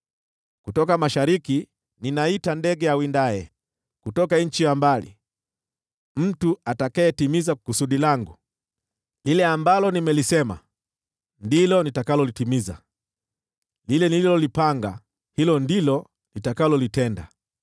Kutoka mashariki ninaita ndege awindaye; kutoka nchi ya mbali, mtu atakayetimiza kusudi langu. Lile ambalo nimelisema, ndilo nitakalolitimiza; lile nililolipanga, ndilo nitakalolitenda.